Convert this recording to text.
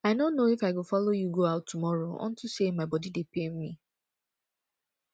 i no know if i go follow you go out tomorrow unto say my body dey pain me